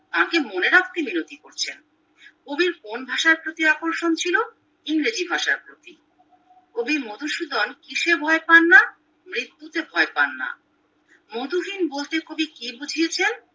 তাঁকে মনে রাখতে মিনতি করছেন কবির কোন ভাষার প্রতি আকর্ষণ ছিল ইংরেজি ভাষার প্রতি কবি মধুসূদন কিসে ভয় পান না মৃত্যুতে ভয় পান্ না মধুহীন বলতে কবি কি বুঝিয়েছেন